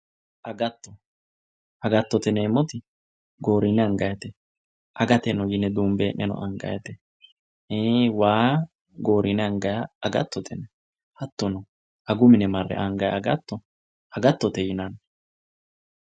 Agatto, agattote yineemmoti goorine angannite ,aga dunbe hee'neno angannite ,ii'i waa gorine anganiha agattote, hattono agu mine marre anganni agatto agattote yinanni.